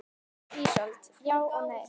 Ísold: Já og nei.